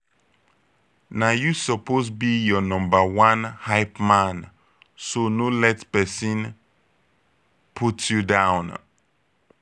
na yu soppose be yur nomba one hypeman so no let pesin put yu down